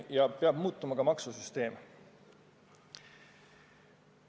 Ja peab muutuma ka maksusüsteem.